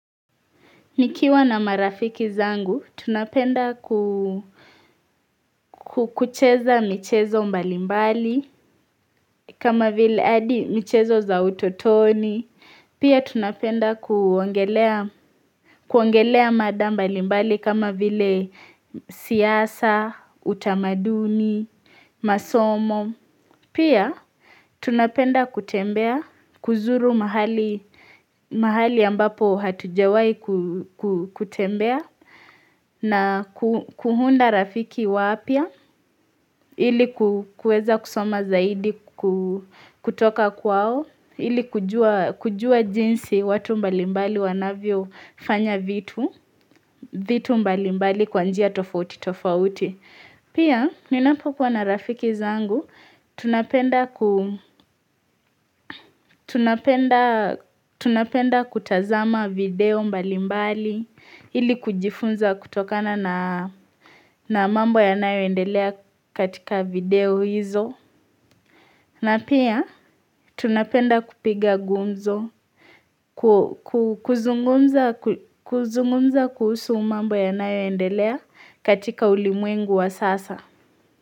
Mikiwa na marafiki zangu, tunapenda kukucheza michezo mbalimbali, kama vile adi michezo za utotoni. Pia tunapenda kuongelea mada mbalimbali kama vile siyasa, utamaduni, masomo. Pia tunapenda kutembea kuzuru mahali ambapo hatujawai kutembea na kuhunda rafiki wapia ili kueza kusoma zaidi kutoka kwao ili kujua jinsi watu mbalimbali wanavyo fanya vitu vitu mbalimbali kwanjia tofauti tofauti. Pia, ninapokuwa na rafiki zangu, tunapenda kutazama video mbali mbali, ili kujifunza kutokana na mambo ya nayo endelea katika video hizo. Na pia, tunapenda kupiga gumzo, kuzungumza kuhusu mambo yanayoendelea katika ulimwengu wa sasa.